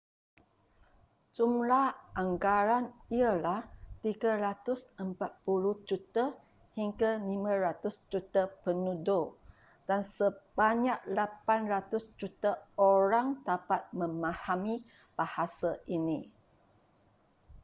jumlah anggaran ialah 340 juta hingga 500 juta penutur dan sebanyak 800 juta orang dapat memahami bahasa ini